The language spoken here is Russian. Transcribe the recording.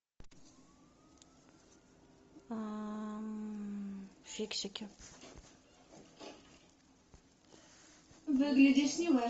фиксики